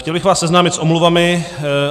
Chtěl bych vás seznámit s omluvami.